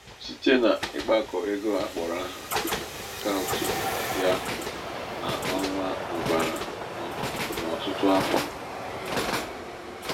site n'ịkpakọ ego akpọrọ áhà akaụtụ ya n'ọnwa mụbara n'ọtụtụ afọ.